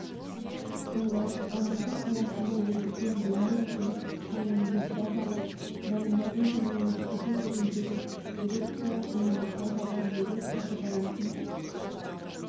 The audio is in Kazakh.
жылы алматы қаласында өтетін дүниежүзілік қысқы универсиадаға дайындалу және өткізу жөніндегі дирекция универсиадаға билет сатып алатын